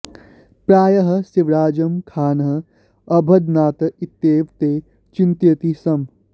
प्रायः शिवराजं खानः अबध्नात् इत्येव ते चिन्तयन्ति स्म